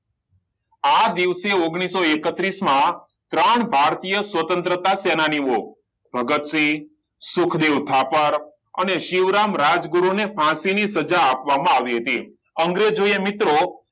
આ દિવસે ઓગણીસો એકત્રીસ માં ત્રણ ભારતીય સ્વતંત્રતા સેનાની ઓ ભગતસિંહ, સુખદેવ થાપર અને શિવરામ રાજગુરુ ને ફાંસીની સજા આપવામાં આવી હતી અંગ્રેજોએ મિત્રો